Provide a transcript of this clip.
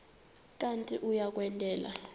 kanti uia kwendela